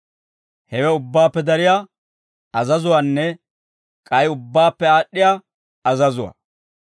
Hewe ubbaappe dariyaa azazuwaanne k'ay ubbaappe aad'd'iyaa azazuwaa.